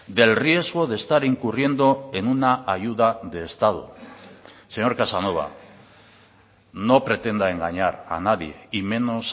del riesgo de estar incurriendo en una ayuda de estado señor casanova no pretenda engañar a nadie y menos